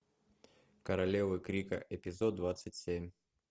королевы крика эпизод двадцать семь